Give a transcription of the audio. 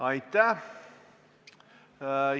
Aitäh!